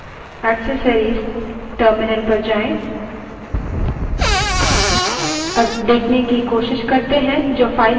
अब applications> accessories> terminal पर जाएँ